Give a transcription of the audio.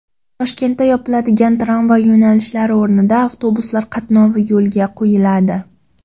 Toshkentda yopiladigan tramvay yo‘nalishlari o‘rnida avtobuslar qatnovi yo‘lga qo‘yiladi.